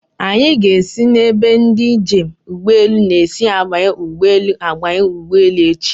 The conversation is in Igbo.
Anyị ga-esi n'ebe ndị njem ụgbọelu na-esi abanye ụgbọelu abanye ụgbọelu echi.